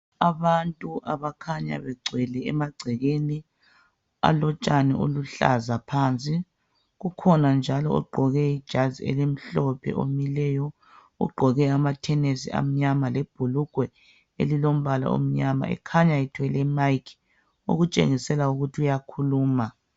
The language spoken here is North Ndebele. Abantu okukhana begcwele emagcekeni alotshani oluhlaza phansi kukhona njalo ogqoke ijazi elimhlophe omileyo, ugqoke amathenisi amnyama lebhulugwe elilombala omnyama ekhanya ethwele imayikhi okutshengisela ukuthi uyakhuluma.